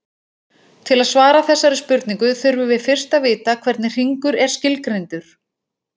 Til að svara þessari spurningu þurfum við fyrst að vita hvernig hringur er skilgreindur.